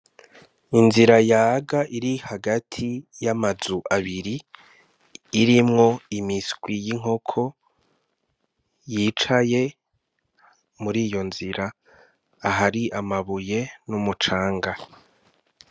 Inzira yaga iri hagati y'amazu abiri; irimwo imiswi y'inkoko yicaye muriyo nzira, ahari amabuye n'umucanga.